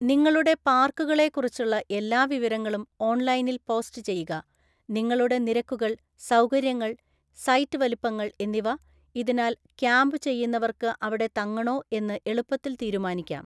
നിങ്ങളുടെ പാർക്കുകളെക്കുറിച്ചുള്ള എല്ലാ വിവരങ്ങളും ഓൺലൈനിൽ പോസ്റ്റ് ചെയ്യുക, നിങ്ങളുടെ നിരക്കുകൾ, സൌകര്യങ്ങൾ, സൈറ്റ് വലുപ്പങ്ങൾ എന്നിവ, ഇതിനാൽ ക്യാമ്പ് ചെയ്യുന്നവർക്കു അവിടെ തങ്ങണോ എന്ന് എളുപ്പത്തിൽ തീരുമാനിക്കാം.